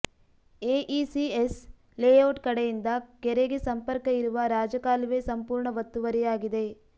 AECS layout ಕಡೆಯಿಂದ ಕೆರೆಗೆ ಸಂರ್ಪಕ ಇರುವ ರಾಜಕಾಲುವೆ ಸಂಪೂರ್ಣ ಒತ್ತುವರಿಯಾಗಿದೆ